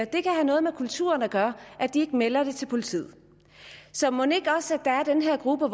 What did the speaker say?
det kan have noget med kulturen at gøre at de ikke melder det til politiet så mon ikke også der er den her gruppe